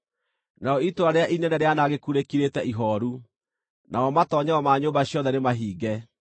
Narĩo itũũra rĩrĩa inene rĩanangĩku rĩkirĩte ihooru, namo matoonyero ma nyũmba ciothe nĩmahinge.